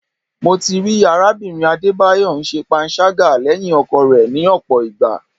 Mo ti rí arábìnrin Adébáyọ̀ ń ṣe panṣágà lẹ́yìn ọkọ rẹ̀ ni ọ̀pọ̀ ìgbà.